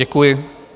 Děkuji.